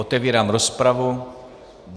Otevírám rozpravu.